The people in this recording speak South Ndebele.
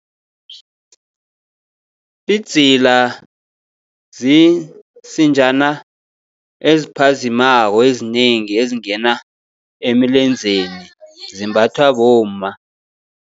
Idzila ziinsinjana eziphazimako ezinengi, ezingena emilenzeni zimbathwa bomma.